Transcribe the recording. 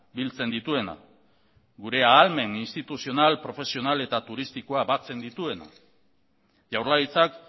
biltzen dituena gure ahalmen instituzional profesional eta turistikoa batzen dituena jaurlaritzak